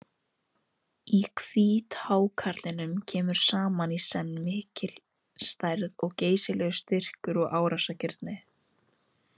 Í hvíthákarlinum kemur saman í senn mikil stærð og geysilegur styrkur og árásargirnd.